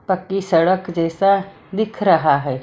पक्की सड़क जैसा दिख रहा है।